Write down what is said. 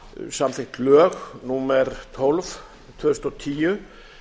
samþykkt lög númer tólf tvö þúsund og tíu